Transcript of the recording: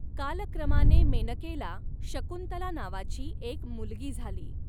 कालक्रमाने मेनकेला शकुंतला नावाची एक मुलगी झाली.